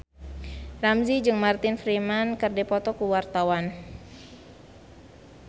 Ramzy jeung Martin Freeman keur dipoto ku wartawan